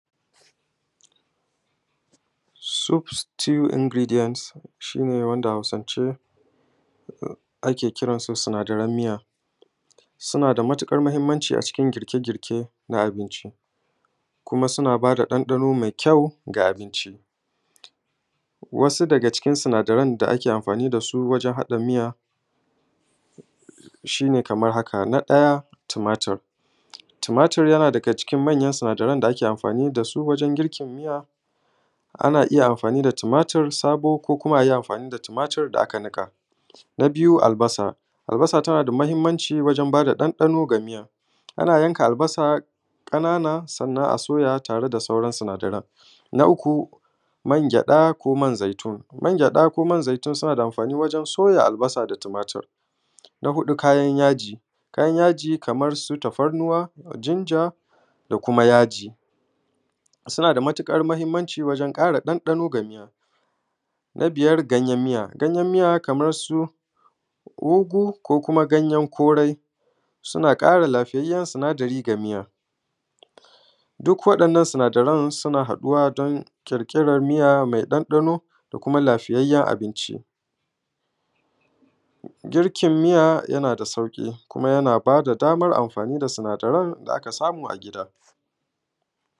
soup stew ingredient shine wanda hausance ake kiransu sinadaran miya suna da matuƙar muhimmanci a cikin girke girke na abinci kuma suna ba da ɗanɗano mai kyau ga abinci wasu daga cikin sinadarai da ake amfani da su wajan haɗa miya shine kaman haka na ɗaya tumatur tumatur ya na daga cikin manyan da ake amfani da su wajan girkin miya ana iya amfani da tumatur sabo ko kuma a yi amfani da tumatur da aka niƙa na biyu albasa albasa tana da muhimmanci wajen ba da ɗanɗano ga miya ana yanka albasa ƙanana sannan a soya tare da sauran sinadaran na uku man gyaɗa ko man zaitun man gyaɗa ko man zaitun suna da amfani wajan soya albasa da tumatur na huɗu kayan yaji kayan yaji kaman su tafarnuwa ginger da kuma yaji suna da matuƙar muhimmanci wajan ƙara ɗanɗano ga miya na biyar ganyen miya ganyen miya kaman su ugu ko kuma ganyen kori suna ƙara lafiyayyen sinadari ga miya duk wa’innan sinadarai suna haɗuwa don ƙirƙiran miya mai ɗanɗano da kuma lafiyayyen abinci girkin miya ya na da sauƙi kuma ya na ba da damar amfani da sinadarai da aka samu a gida